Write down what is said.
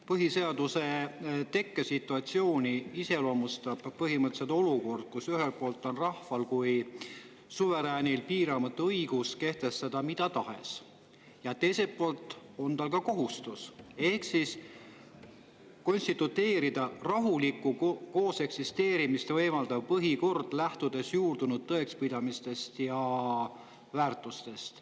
Põhiseaduse tekke situatsiooni iseloomustab põhimõtteliselt olukord, kus ühelt poolt on rahval kui suveräänil piiramatu õigus kehtestada mida tahes, ja teiselt poolt on tal ka kohustus konstitueerida rahulikku kooseksisteerimist võimaldav põhikord, lähtudes juurdunud tõekspidamistest ja väärtustest.